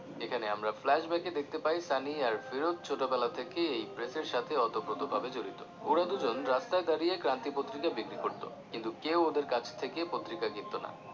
এখানে আমরা flash back দেখতে পাই সানি আর ফিরোজ ছোট বেলা থেকেই এই press সাথে ওতপ্রোত ভাবে জড়িত ওরা দুজন রাস্তায় দাঁড়িয়ে ক্রান্তি পত্রিকা বিক্রি করতো কিন্তু কেউ ওদের কাছ থেকে পত্রিকা কিনতো না